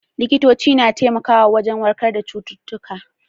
Likitoci na iya taimako wajen warkar da cututtuka.